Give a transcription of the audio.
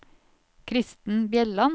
Kristen Bjelland